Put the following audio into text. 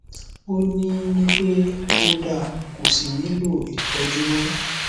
ó ní ní pé ó da kò sí nilò ìtọjú mọ